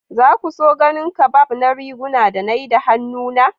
Za ku so ganin kabab na riguna da na yi da hannuna?